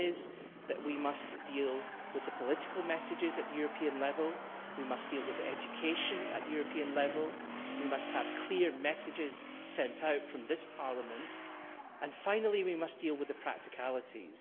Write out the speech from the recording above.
One is that we must deal with the political messages at European level we must deal with education at European level and we must send out clear messages from this Parliament and also we must deal with the practicalities.